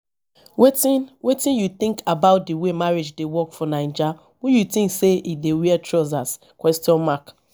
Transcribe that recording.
wetin wetin you think about di way marriage dey work for naija who you think say e dey wear trousers question mark